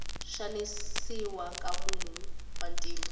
xanisiwa ka vanhu vantima